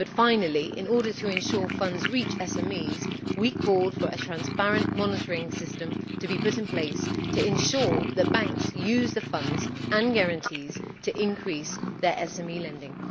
But finally, in order to ensure that funds reach SMEs, we called for a transparent monitoring system to be put in place to ensure that banks use the funds and guarantees to increase their SME lending.